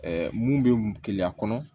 mun bɛ keleya kɔnɔ